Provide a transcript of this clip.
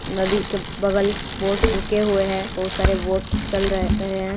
नदी के बगल बोट रुके हुए है बहुत सारे बोट चल रहे है।